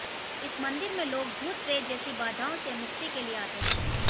इस मंदिर में लोग भूत प्रेत जैसी बाधाओं से मुक्ति के लिए आते हैं